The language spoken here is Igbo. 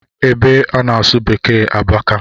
Ebe a na-asụ beeke abaka